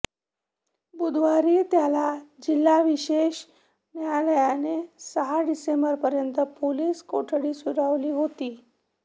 बुधवारी त्याला जिल्हा विशेष न्यायालयाने सहा डिसेंबरपर्यंत पोलीस कोठडी सुनावली होती